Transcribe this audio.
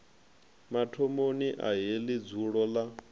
mathomoni a heḽi dzulo ḽa